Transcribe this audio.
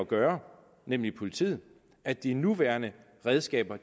gøre nemlig politiet at de nuværende redskaber